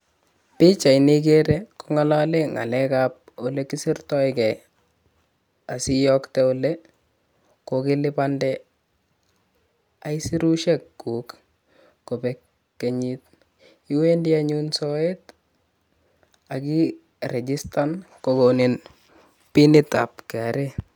Pichaini ikerer kongalale ngalekab ole kisirtokei asi iyokte ole kokelipande aisurushekuk kobek kenyit, iwendi anyun soet ak irijistan kokoni pinitab Kenya Revenue Authority.